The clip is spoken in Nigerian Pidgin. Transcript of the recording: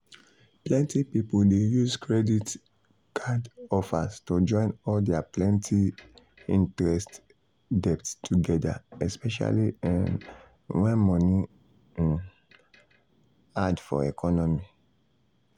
plenty people dey use credit um card offers to join all their plenty-interest debt together especially um when money um hard for economy.